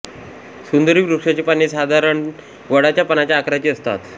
सुंदरी वृक्षाची पाने साधारण वडाच्या पानाच्या आकाराची असतात